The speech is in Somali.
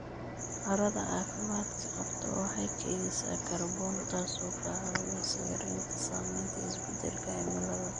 Carrada caafimaadka qabta waxay kaydisaa kaarboon, taasoo ka caawinaysa yaraynta saamaynta isbeddelka cimilada.